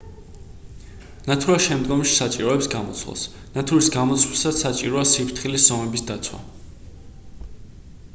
ნათურა შემდგომში საჭიროებს გამოცვლას ნათურის გამოცვლისას საჭიროა სიფრთხილის ზომების დაცვა